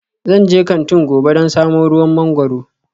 Zan je kantin gobe don samo ruwan mangwaro